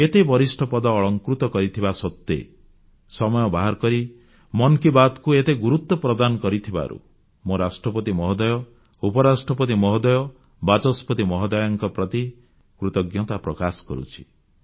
ଏତେ ବରିଷ୍ଠ ପଦ ଅଳଙ୍କୃତ କରିଥିବା ସତ୍ତ୍ୱେ ସମୟ ବାହାର କରି ମନ୍ କି ବାତ୍ କୁ ଏତେ ଗୁରୁତ୍ୱ ପ୍ରଦାନ କରିଥିବାରୁ ମୁଁ ରାଷ୍ଟ୍ରପତି ମହୋଦୟ ଉପରାଷ୍ଟ୍ରପତି ମହୋଦୟ ବାଚସ୍ପତି ମହୋଦୟାଙ୍କ ପ୍ରତି କୃତଜ୍ଞତା ପ୍ରକାଶ କରୁଛି